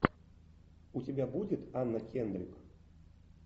у тебя будет анна кендрик